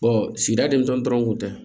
sigida dentɔn kun tɛ